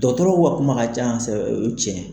Dɔgɔtɔrɔw u ka kuma ka can o ye tiɲɛ ye.